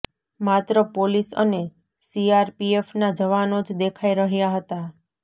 માત્ર પોલીસ અને સીઆરપીએફના જવાનો જ દેખાઇ રહ્યાં હતા